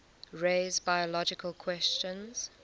raise biological questions